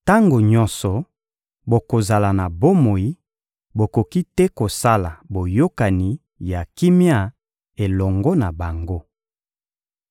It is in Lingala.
Tango nyonso bokozala na bomoi, bokoki te kosala boyokani ya kimia elongo na bango.